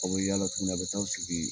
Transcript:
Aw yaala tuguni, aw bɛ taa aw sigi